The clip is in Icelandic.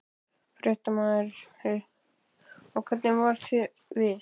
Fréttamaður: Og hvernig varð þér við?